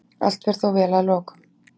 Allt fer þó vel að lokum.